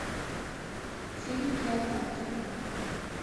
фильм клеопатра